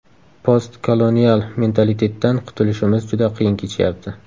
Post-kolonial mentalitetdan qutilishimiz juda qiyin kechyapti.